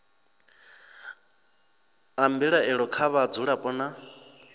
a mbilaelo kha vhadzulapo nna